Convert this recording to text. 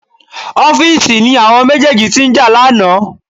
Office ni àwọn méjèèjì tí ń jà lánàá